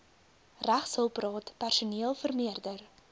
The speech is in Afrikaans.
regshulpraad personeel vermeerder